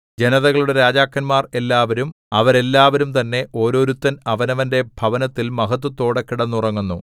ജനതകളുടെ രാജാക്കന്മാർ എല്ലാവരും അവരെല്ലാവരും തന്നെ ഒരോരുത്തൻ അവനവന്റെ ഭവനത്തിൽ മഹത്ത്വത്തോടെ കിടന്നുറങ്ങുന്നു